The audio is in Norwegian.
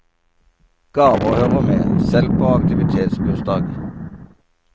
Gaver hører med, selv på aktivitetsbursdag.